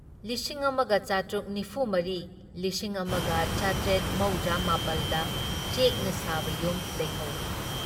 ꯂꯤꯁꯤꯡ ꯑꯃꯥꯒ ꯆꯥꯇ꯭ꯔꯨꯛ ꯅꯤꯐꯨ ꯃꯔꯤ , ꯂꯤꯁꯤꯡ ꯑꯃꯥꯒ ꯆꯥꯇ꯭ꯔꯦꯠ ꯃꯧꯗ꯭ꯔꯥ ꯃꯥꯄꯜꯗ ꯆꯦꯛꯅ ꯁꯥꯕ ꯌꯨꯝ ꯂꯩꯍꯧꯏ ꯫